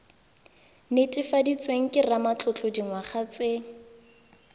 netefaditsweng ke ramatlotlo dingwaga tse